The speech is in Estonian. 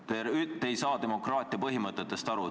Te ei saa demokraatia põhimõtetest aru.